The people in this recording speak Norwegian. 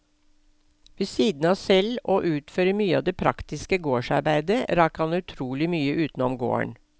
Ved siden av selv å utføre mye av det praktiske gårdsarbeidet, rakk han utrolig mye utenom gården.